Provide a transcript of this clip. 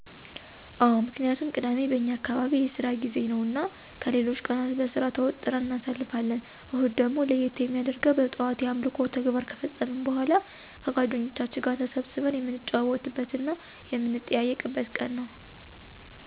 አወ ምክንያቱም ቅዳሜ በእኛ አካባቢ የስራ ጊዜ ነው እና ከሌሎች ቀናት በስራ ተወጥረን እናሳልፋለን። እሁድ ደግሞ ለየት የሚያደርገው በጣዋት የአምልኮ ተግባር ከፈጸምን በኃላ ከጓደኞቻችን ጋር ተሰብስበን የምንጨዋወትበት እና የምንጠያየቅንበት ቀን ነው።